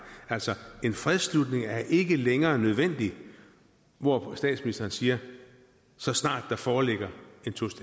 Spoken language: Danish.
altså en fredsslutning er ikke længere nødvendig hvor statsministeren siger så snart der foreligger